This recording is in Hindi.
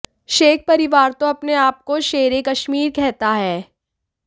शेख परिवार तो अपने आप को शेरे कश्मीर कहता है